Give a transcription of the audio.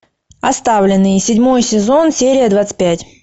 оставленные седьмой сезон серия двадцать пять